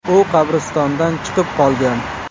U qabristondan chiqib qolgan.